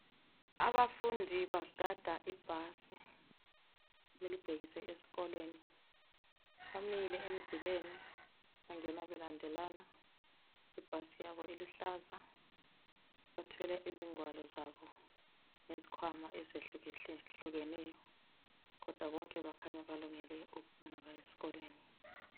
Abafundi bagada ibhasi elibhekise esikolweni imile emzileni bangena belandelana ibhasi yabo iluhlaza bathwele izigwalo zabo ngezikhwama ezihlukeneyo kodwa kukhanya bonke balungele ukuya esikolweni